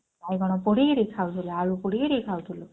ବାଇଗଣ ପୋଡିକିରି ଖାଉଥିଲୁ ଆଳୁ ପୋଡିକିରି ଖାଉଥିଲୁ।